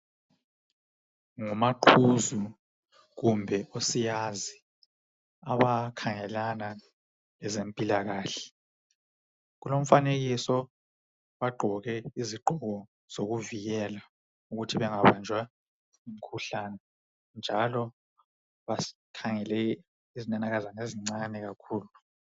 Ngumaqhuzu kumbe usiyazi abakhangelana lezempilakahle kulomfanekiso bagqoke izigqoko zokuvikela ukuthi bengabanjwa ngumkhuhlane njalo bakhangele izinanakazana ezincane kakhulu.